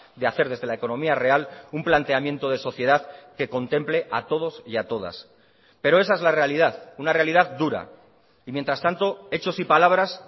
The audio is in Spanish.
de hacer desde la economía real un planteamiento de sociedad que contemple a todos y a todas pero esa es la realidad una realidad dura y mientras tanto hechos y palabras